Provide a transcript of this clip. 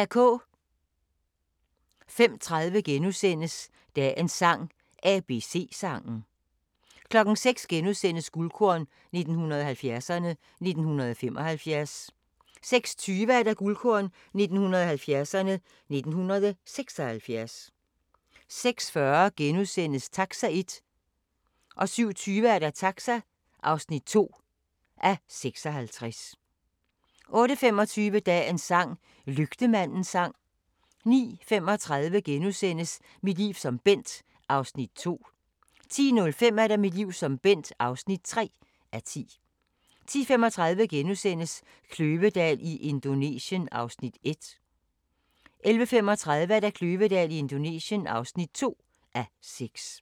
05:30: Dagens sang: ABC-sangen * 06:00: Guldkorn 1970'erne: 1975 * 06:20: Guldkorn 1970'erne: 1976 06:40: Taxa (1:56)* 07:20: Taxa (2:56) 08:25: Dagens sang: Lygtemandens sang 09:35: Mit liv som Bent (2:10)* 10:05: Mit liv som Bent (3:10) 10:35: Kløvedal i Indonesien (1:6)* 11:35: Kløvedal i Indonesien (2:6)